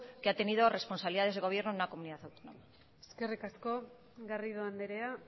que ha tenido responsabilidades de gobierno en una comunidad autónoma eskerrik asko garrido andrea